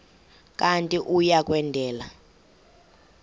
kanti uia kwendela